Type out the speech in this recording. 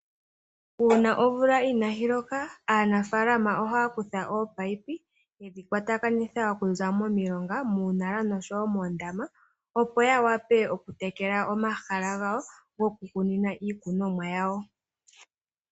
Uuna omvula inayi loka, aanafaalama ohaya kutha ominino, yedhi kwatakanitha okuza momilonga, muunaala noshowo moondama, opo ya wape okutekela omahala gawo gokukunina iikunomwa yawo.